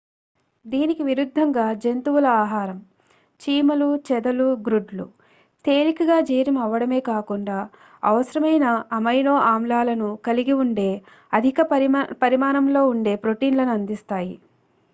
దీనికి విరుద్ధంగా జంతువుల ఆహారం చీమలు చెదలు గ్రుడ్లు తేలికగా జీర్ణం అవ్వడమే కాకుండా అవసరమైన అమైనో ఆమ్లాలను కలిగి ఉండే అధిక పరిమాణంలో ఉండే ప్రోటీన్లను అందిస్తాయి